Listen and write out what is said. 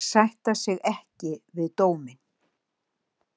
Sætta sig ekki við dóminn